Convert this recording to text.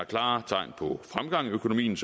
klare tegn på fremgang i økonomien